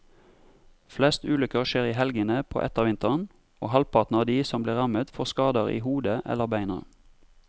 Flest ulykker skjer i helgene på ettervinteren, og halvparten av de som blir rammet får skader i hodet eller beina.